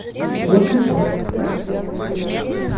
кошки